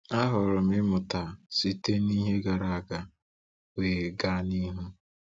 Ahọrọ m ịmụta site na ihe gara aga, wee gaa n’ihu.